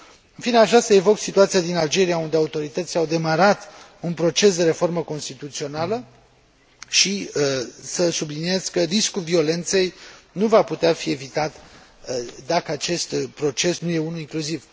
În fine, aș vrea să evoc situația din Algeria, unde autoritățile au demarat un proces de reformă constituțională, și să subliniez că riscul violenței nu va putea fi evitat dacă acest proces nu e unul incluziv.